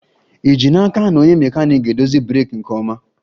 Ì ji n'aka na onye mekaniiki ga-edozi breeki nke ọma?